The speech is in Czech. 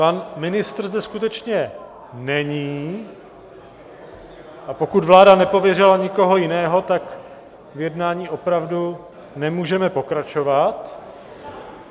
Pan ministr zde skutečně není, a pokud vláda nepověřila nikoho jiného, tak v jednání opravdu nemůžeme pokračovat.